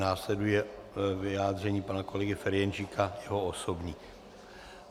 Následuje vyjádření pana kolegy Ferjenčíka, jeho osobní.